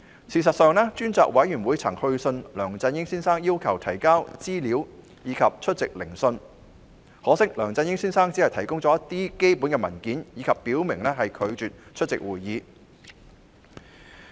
事實上，專責委員會曾去信梁振英先生要求提交資料及出席聆訊，可惜梁振英先生只提供了一些基本文件，並表明拒絕出席會議。